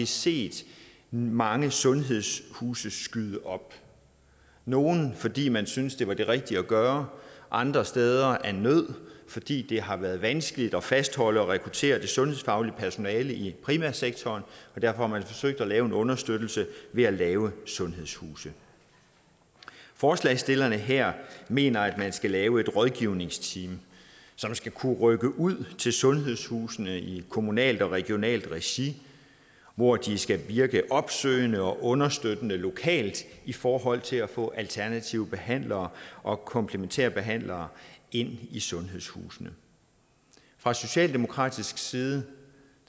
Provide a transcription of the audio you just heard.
set mange sundhedshuse skyde op nogle fordi man syntes at det var det rigtige at gøre andre steder af nød fordi det har været vanskeligt at fastholde og rekruttere det sundhedsfaglige personale i primærsektoren derfor har man forsøgt at lave en understøttelse ved at lave sundhedshuse forslagsstillerne her mener at man skal lave et rådgivningsteam som skal kunne rykke ud til sundhedshusene i kommunalt og regionalt regi hvor de skal virke opsøgende og understøttende lokalt i forhold til at få alternative behandlere og komplementære behandlere ind i sundhedshusene fra socialdemokratisk side